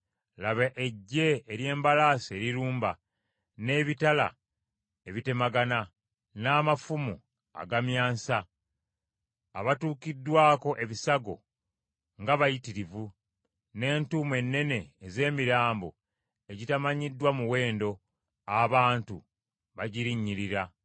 Laba eggye ery’embalaasi erirumba, n’ebitala ebitemagana, n’amafumu agamyansa. Abatuukiddwako ebisago nga bayitirivu, ne ntuumu ennene ez’emirambo egitamanyiddwa muwendo; abantu bagirinnyirira.